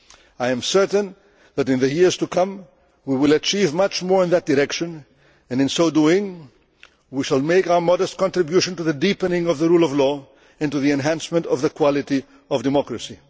fully. I am certain that in the years to come we will achieve much more in that direction and, in so doing, we shall make our modest contribution to the deepening of the rule of law and to the enhancement of the quality of democracy.